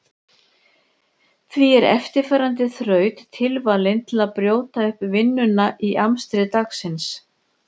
Því er eftirfarandi þraut tilvalin til að brjóta upp vinnuna í amstri dagsins.